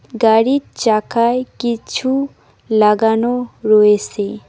গাড়ির চাকায় কিছু লাগানো রয়েসে।